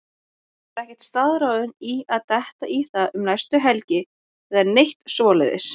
Ég var ekkert staðráðinn í að detta í það um næstu helgi eða neitt svoleiðis.